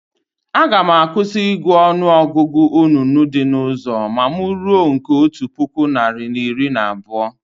Aga m akwụsị ị gụ ọnụ ọgụgụ onunu dị na ụzọ ma mụ ruo nke otu puku narị na iri na abụọ